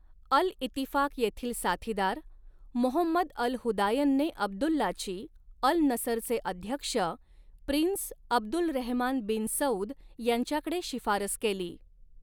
अल Ittifaq येथील साथीदार, Mohammed Al हुदायनने अब्दुल्लाची, अल नसरचे अध्यक्ष, प्रिन्स अब्दुलरहमान बिन सऊद, यांच्याकडे शिफारस केली.